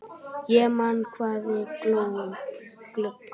Ég man hvað við hlógum.